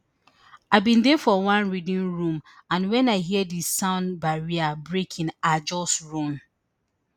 i bin dey for one reading room and wen i hear di sound barrier breaking i just run